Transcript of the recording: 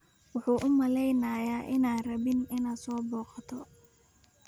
Wuxuu u maleynayaa inaadan rabin inaad soo booqato